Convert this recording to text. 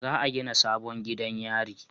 Za a gina sabon gidan yari